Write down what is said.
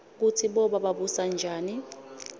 kutsi boba babusanjani